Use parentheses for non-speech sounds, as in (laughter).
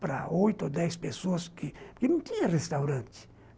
para oito ou dez pessoas que, (unintelligible) não tinha restaurante.